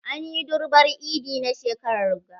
An yi durbar eid na shekarar ga.